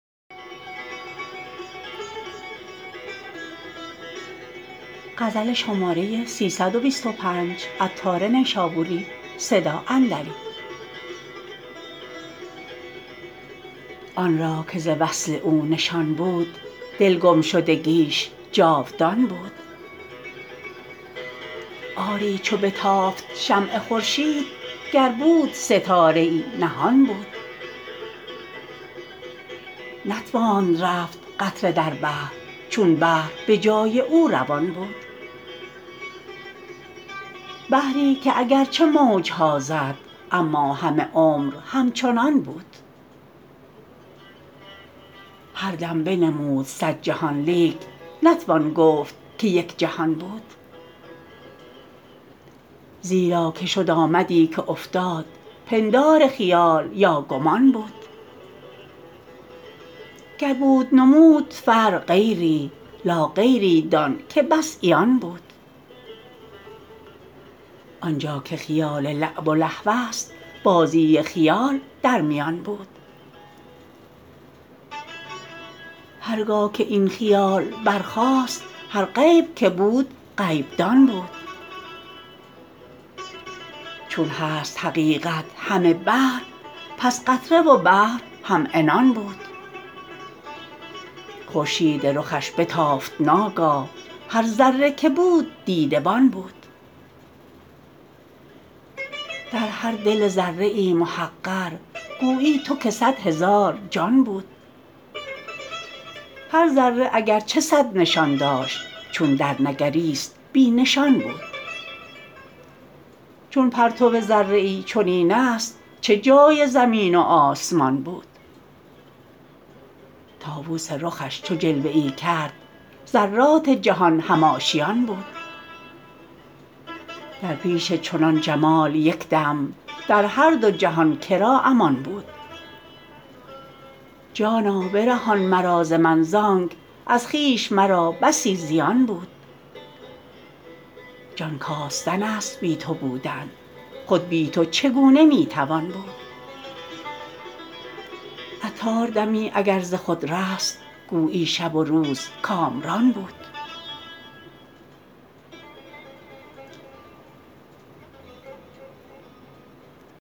آنرا که ز وصل او نشان بود دل گم شدگیش جاودان بود آری چو بتافت شمع خورشید گر بود ستاره ای نهان بود نتواند رفت قطره در بحر چون بحر به جای او روان بود بحری که اگرچه موج ها زد اما همه عمر همچنان بود هر دم بنمود صد جهان لیک نتوان گفتن که یک جهان بود زیرا که شد آمدی که افتاد پندار خیال یا گمان بود گر بود نمود فرع غیری لاغیری دان که بس عیان بود زانجا که حیات لعب و لهوست بازی خیال در میان بود هرگاه که این خیال برخاست هر عیب که بود عیب دان بود چون هست حقیقت همه بحر پس قطره و بحر هم عنان بود خورشید رخش بتافت ناگاه هر ذره که بود دیده بان بود در هر دل ذره ای محقر گویی تو که صد هزار جان بود هر ذره اگرچه صد نشان داشت چون در نگریست بی نشان بود چون پرتو ذره ای چنین است چه جای زمین و آسمان بود طاوس رخش چو جلوه ای کرد ذرات جهان هم آشیان بود در پیش چنان جمال یکدم در هر دو جهان که را امان بود جانا برهان مرا ز من زانک از خویش مرا بسی زیان بود جان کاستن است بی تو بودن خود بی تو چگونه می توان بود عطار دمی اگر ز خود رست گویی شب و روز کامران بود